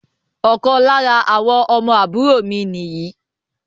Ọ̀kan lára àwọn ọmọ àbúrò mi ni yìí